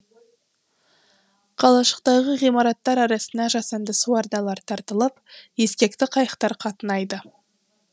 қалашықтағы ғимараттар арасына жасанды су арналары тартылып ескекті қайықтар қатынайды